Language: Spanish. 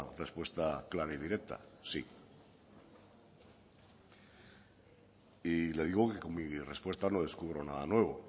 respuesta clara y directa sí y le digo que con mi respuesta no descubro nada nuevo